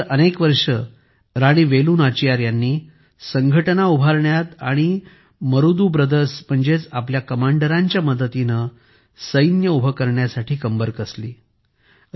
त्यानंतर अनेक वर्ष राणी वेलू नाचियार यांनी संघटना उभारण्यात आणि मरुदु ब्रदर्स म्हणजेच आपल्या कमांडरांच्या मदतीने सैन्य उभे करण्यासाठी कंबर कसली